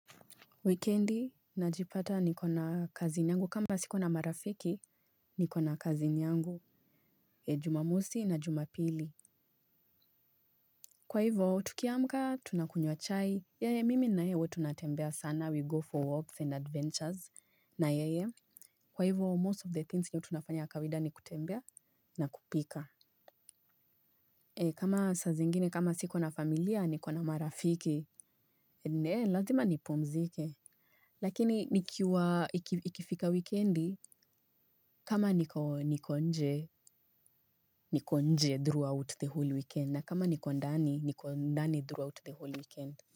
Wikendi najipata niko na cousin yangu kama siko na marafiki niko na cousin yangu jumamosi na jumapili. Kwa hivo tukiamka tunakunywa chai mimi na yeye huwa tunatembea sana we go for walks and adventures na yeye kwa hivo most of the things nye tunafanya kawida ni kutembea na kupika. Kama saa zingine kama siko na familia niko na marafiki lazima nipumzike. Lakini nikiwa ikifika wikendi kama niko nje, niko nje throughout the whole weekend na kama niko ndani, niko ndani throughout the whole weekend.